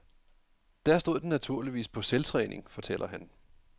Der stod den naturligvis på selvtræning, fortæller han.